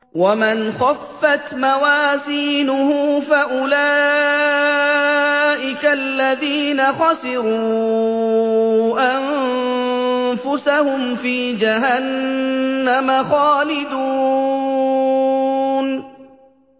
وَمَنْ خَفَّتْ مَوَازِينُهُ فَأُولَٰئِكَ الَّذِينَ خَسِرُوا أَنفُسَهُمْ فِي جَهَنَّمَ خَالِدُونَ